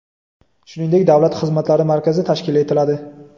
shuningdek davlat xizmatlari markazi tashkil etiladi.